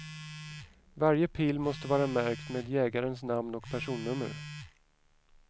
Varje pil måste vara märkt med jägarens namn och personnummer.